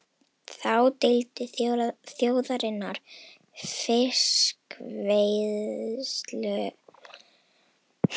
Þá deildu þjóðirnar um fiskveiðilögsöguna í kringum Ísland.